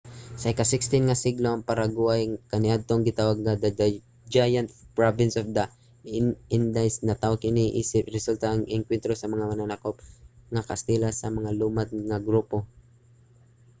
sa ika-16 nga siglo ang paraguay nga kaniadtong gitawag nga the giant province of the indies natawo kini isip resulta sa engkwentro sa mga mananakop nga kastila sa mga lumad nga grupo